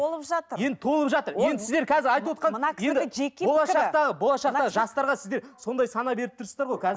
толып жатыр енді толып жатыр енді сіздер қазір айтывотқан болашақта болашақта жастарға сіздер сондай сана беріп тұрсыздар ғой